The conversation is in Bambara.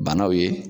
Banaw ye